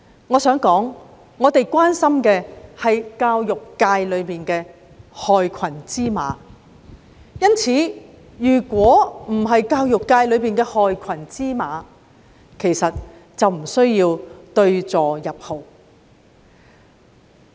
我想指出，我們關心的是教育界的害群之馬；如果教育界沒有害群之馬，根本無須對號入座。